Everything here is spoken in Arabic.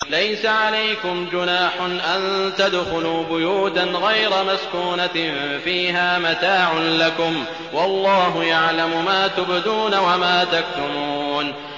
لَّيْسَ عَلَيْكُمْ جُنَاحٌ أَن تَدْخُلُوا بُيُوتًا غَيْرَ مَسْكُونَةٍ فِيهَا مَتَاعٌ لَّكُمْ ۚ وَاللَّهُ يَعْلَمُ مَا تُبْدُونَ وَمَا تَكْتُمُونَ